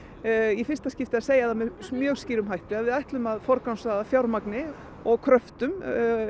í fyrsta skiptið að segja með mjög skýrum hætti að við ætlum að forgangsraða fjármagni og kröftum